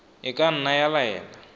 e ka nna ya laela